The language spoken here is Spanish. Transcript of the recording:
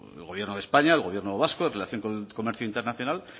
el gobierno de españa el gobierno vasco en relación con el comercio internacional